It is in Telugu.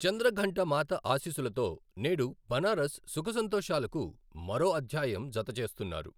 చంద్రఘంట మాత ఆశీస్సులతో నేడు బనారస్ సుఖసంతోషాలకు మరో అధ్యాయం జతచేస్తున్నారు.